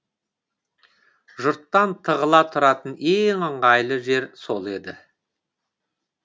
жұрттан тығыла тұратын ең ыңғайлы жер сол еді